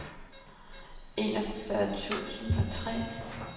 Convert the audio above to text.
enogfyrre tusind og tre